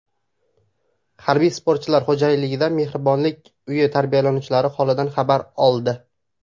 Harbiy sportchilar Xo‘jaylidagi Mehribonlik uyi tarbiyalanuvchilari holidan xabar oldi.